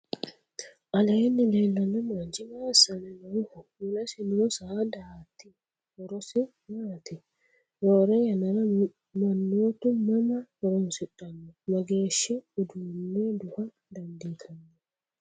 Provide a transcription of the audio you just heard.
aleenni leellanno manchi maa assanni nooho? mulesi noo saadati horosi maati? roore yannara mannootu mama horoonsidhanno? mageeshi uduunne duha dandiitanno?